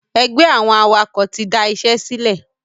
Ẹgbẹ́ àwọn awakọ̀ tí da ìṣẹ́ sílẹ̀